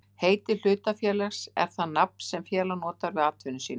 Heiti hlutafélags er það nafn sem félag notar við atvinnu sína.